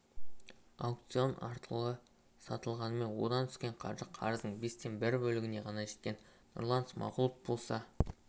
аукцион арқылы сатылғанымен одан түскен қаржы қарыздың бестен бір бөлігіне ғана жеткен нұрлан смағұлов болса